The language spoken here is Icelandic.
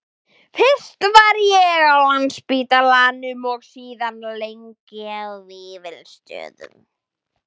Fyrst var ég á Landspítalanum og síðan lengi á Vífilsstöðum.